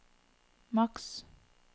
maks